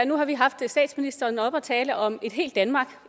nu har vi haft statsministeren oppe at tale om et helt danmark